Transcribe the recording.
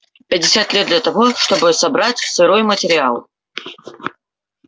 пятьдесят лет для того чтобы собрать сырой материал